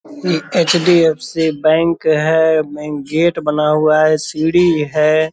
ये HDFC. Bank है gate बना हुआ है सीढ़ी है ।